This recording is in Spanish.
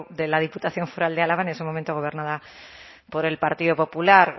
de la diputación foral de álava en ese momento gobernada por el partido popular